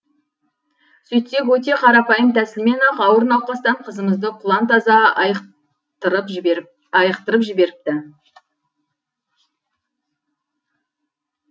сөйтсек өте қарапайым тәсілмен ақ ауыр науқастан қызымызды құлан таза айықтырып жіберіпті